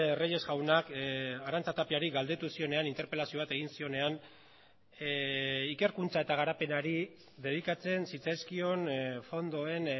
reyes jaunak arantza tapiari galdetu zionean interpelazio bat egin zionean ikerkuntza eta garapenari dedikatzen zitzaizkion fondoen